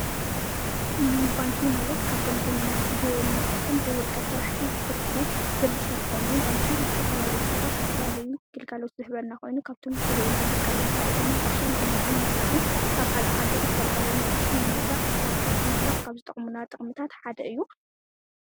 ባንኪ ማለት ካብቶም ብመንግሥትን ብወልቀ ስራሕቲ ዝስርሑ ድርጅታት ኾይኑ፣ ባንኪ ንዝተፈላልዩ ሰባት ዝተፈላልዩ ግልጋሎት ዝህበና ኾይኑ፣ ካብቶም ዝህኡና ግልጋሎት ሓደ ድማ ቕርሺ ምቅማጥን ምዉፃዕን ካብ ካልእ ሃገር ዝተልኣከልና ቐርሺ ንሙውፃእ ሽርፍታት ምትራፍ ካብ ዝጠቕምና ጠቕምታት ሓደ እዩ።